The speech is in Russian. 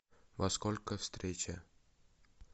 во сколько встреча